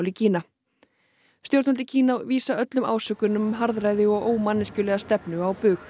í Kína stjórnvöld í Kína vísa öllum ásökunum um harðræði og ómanneskjulega stefnu á bug